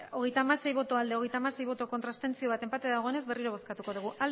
hogeita hamasei bai hogeita hamasei ez bat abstentzio enpate dagoenez berriro bozkatuko dugu